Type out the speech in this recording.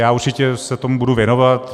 Já určitě se tomu budu věnovat.